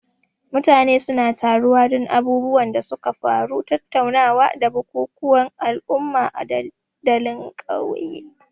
Mutane suna taruwa don abubuwan da suka faru, tattaunawa, da bukukuwan al'umma a dandalin ƙauye.